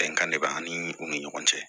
Bɛnkan de b'ani u ni ɲɔgɔn cɛ